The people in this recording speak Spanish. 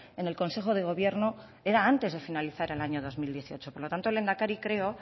en el consejo de gobierno era antes de finalizar el año dos mil dieciocho por lo tanto lehendakari creo